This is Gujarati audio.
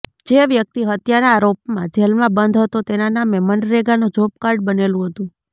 જે વ્યક્તિ હત્યાના આરોપમાં જેલમાં બંધ હતો તેના નામે મનરેગાનું જોબ કાર્ડ બનેલું હતું